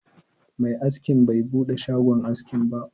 Mai askin bai buɗe shagon askin ba